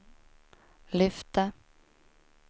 lyfte